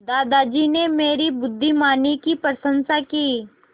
दादाजी ने मेरी बुद्धिमानी की प्रशंसा की